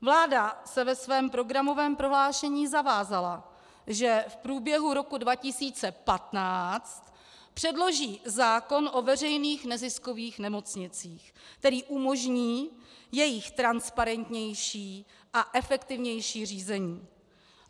Vláda se ve svém programovém prohlášení zavázala, že v průběhu roku 2015 předloží zákon o veřejných neziskových nemocnicích, který umožní jejich transparentnější a efektivnější řízení.